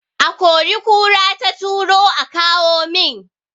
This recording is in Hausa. A kori kura ta turo aka kawo min